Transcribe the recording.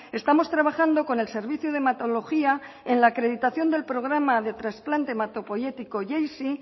estamos trabajando con el servicio de hematología en la acreditación del programa de trasplante hematopoyético